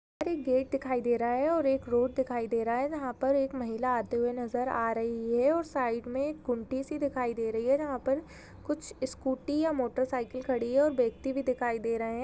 Gate दिखाई दे रहा है और एक रोड दिखाई दे रहा है जहाँ पर एक महिला आते हुए नजर आ रही है और साईड मे एक कुंटी सी दिखाई दे रही है जहाँ पर कुछ स्कूटी या मोटरसाइकिल खड़ी है और व्यक्ति भी दिखाई दे रहे है।